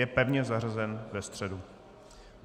Je pevně zařazen ve středu.